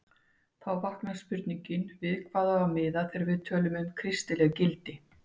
Því vaknar spurningin við hvað á að miða þegar við tölum um kristileg gildi?